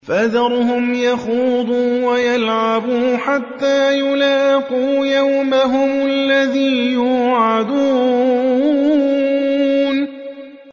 فَذَرْهُمْ يَخُوضُوا وَيَلْعَبُوا حَتَّىٰ يُلَاقُوا يَوْمَهُمُ الَّذِي يُوعَدُونَ